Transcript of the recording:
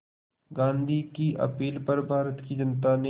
गांधी की अपील पर भारत की जनता ने